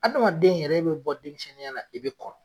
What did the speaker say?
Adama den yɛrɛ bi bɔ denmisɛnninya na, n'i be kɔrɔ